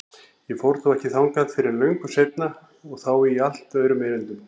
Ég fór þó ekki þangað fyrr en löngu seinna og þá í allt öðrum erindum.